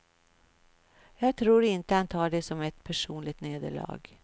Jag tror inte han tar det som ett personligt nederlag.